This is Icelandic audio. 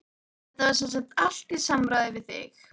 Þetta var semsagt allt í samráði við þig?